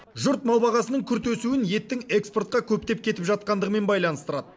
жұрт мал бағасының күрт өсуін еттің экспортқа көптеп кетіп жатқандығымен байланыстырады